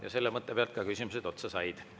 Ja selle mõtte peal ka küsimused otsa said.